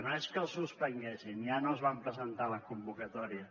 no és el que el suspenguessin ja no es van presentar a la convocatòria